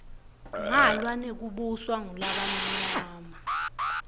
ngalwa nekubuswa ngulabamnyama